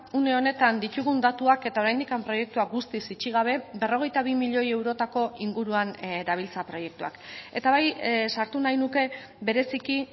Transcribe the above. une honetan ditugun datuak eta oraindik proiektua guztiz itxi gabe berrogeita bi milioi eurotako inguruan dabiltza proiektuak eta bai sartu nahi nuke bereziki